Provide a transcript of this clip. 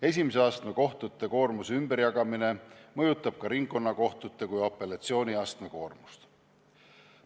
Esimese astme kohtute koormuse ümberjagamine mõjutab ka ringkonnakohtute kui apellatsiooniastme koormust.